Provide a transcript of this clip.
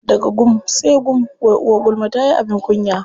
Daga gum sai gum, wai uwar gulma tayi abin kunya.